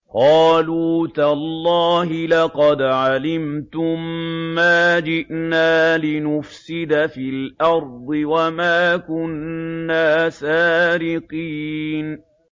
قَالُوا تَاللَّهِ لَقَدْ عَلِمْتُم مَّا جِئْنَا لِنُفْسِدَ فِي الْأَرْضِ وَمَا كُنَّا سَارِقِينَ